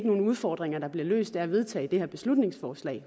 nogen udfordringer der bliver løst af at vedtage det her beslutningsforslag